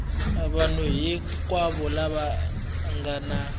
vanhu hinkwavo lava nga na